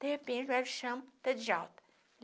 De repente, o médico chama está de alta.